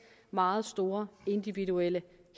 meget store individuelle